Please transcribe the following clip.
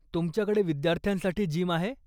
तुमच्याकडे विद्यार्थ्यांसाठी जिम आहे?